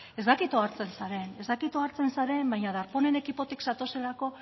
ez dakit ohartzen zaren ez dakit ohartzen zaren baina darpónen ekipotik zatozelako